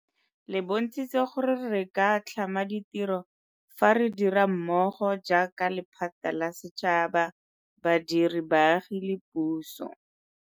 Le bontshitse gore re ka tlhama ditiro fa re dira mmogo jaaka lephata la setšhaba, badiri, baagi le puso.